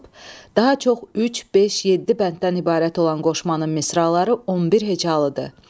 Daha çox üç, beş, yeddi bənddən ibarət olan qoşmanın misraları 11 hecalıdır.